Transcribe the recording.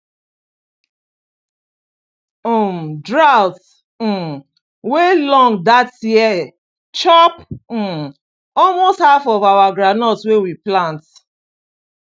um drought um wey long that year chop um almost half of our groundnut wey we plant